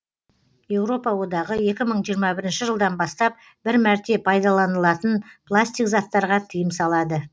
еуропа одағы екі мың жиырма бірінші жылдан бастап бір мәрте пайдаланылатын пластик заттарға тыйым салады